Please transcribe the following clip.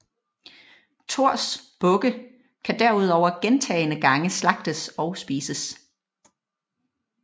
Thors bukke kan derover gentagne gange slagtes og spises